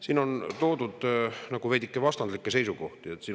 Siin on toodud nagu veidike vastandlikke seisukohti.